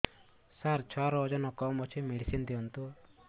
ସାର ଛୁଆର ଓଜନ କମ ଅଛି ମେଡିସିନ ଦିଅନ୍ତୁ